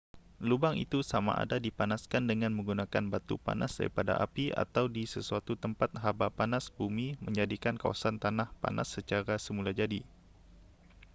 lubang itu samada dipanaskan dengan menggunakan batu panas daripada api atau di sesuatu tempat haba panas bumi menjadikan kawasan tanah panas secara semulajadi